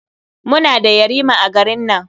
Muna da yarima a garin nan.